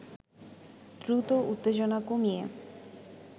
দ্রুত উত্তেজনা কমিয়ে